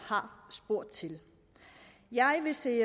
har spurgt til det jeg vil se